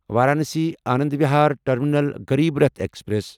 Varanasi Anand Vihar terminal Garib Rath express